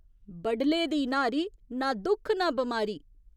बडले दी न्हारी, ना दुख ना बमारी।